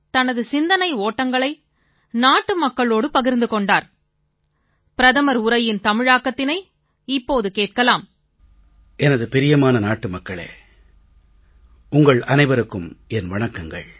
எனது பிரியமான நாட்டு மக்களே உங்கள் அனைவருக்கும் என் வணக்கங்கள்